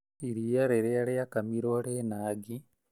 Iria rĩrĩa rĩrakamirwo rĩna ngi